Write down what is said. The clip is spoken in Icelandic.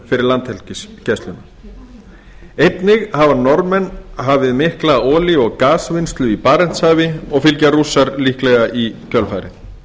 fyrir landhelgisgæsluna einnig hafa norðmenn hafið mikla olíu og gasvinnslu í barentshafi og fylgja rússar líklega í kjölfarið